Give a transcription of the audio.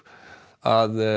að